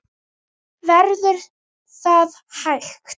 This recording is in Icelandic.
Verður það hægt?